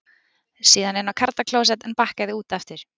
Síðan inn á karlaklósett en bakkaði út aftur.